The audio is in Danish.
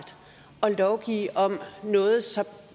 at lovgive om noget så